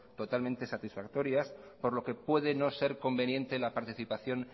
totalmente satisfactorias por lo que puede no ser conveniente la participación